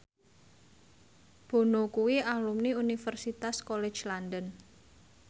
Bono kuwi alumni Universitas College London